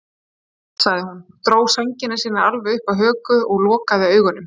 Góða nótt, sagði hún, dró sængina sína alveg upp að höku og lokaði augunum.